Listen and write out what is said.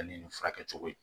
Ni nin furakɛ cogo ye